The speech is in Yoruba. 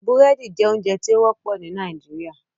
Búrẹ́dì jẹ ounjẹ ti o wọpọ ni Nigeria